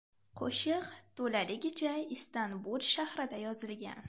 Qo‘shiq to‘laligicha Istanbul shahrida yozilgan.